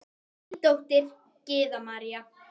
Þín dóttir, Gyða María.